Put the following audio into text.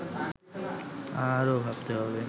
আরো ভাবতে হবে